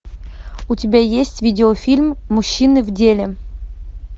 у тебя есть видеофильм мужчины в деле